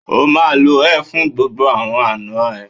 O máa lo ẹ fún gbogbo àwọn àna ẹ.